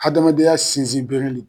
Adamadenya sinsin bere